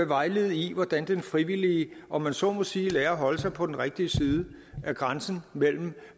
vejlede i hvordan den frivillige om man så må sige lærer at holde sig på den rigtige side af grænsen mellem